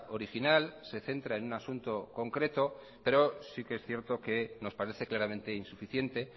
original se centra en un asunto concreto pero sí que es cierto que nos parece claramente insuficiente